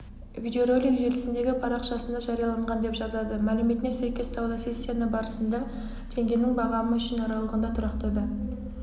видеоролик желісіндегі парақшасында жарияланған деп жазады мәліметіне сәйкес сауда сессиясы барысында теңгенің бағамы үшін аралығында тұрақтады